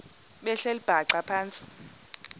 behleli bhaxa phantsi